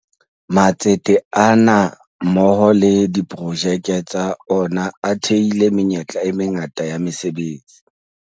Matsete ana mmoho le diprojeke tsa ona a thehile menyetla e mangata ya mese betsi.